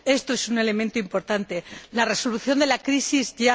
Esto es un elemento importante la resolución de la crisis ¡ya!,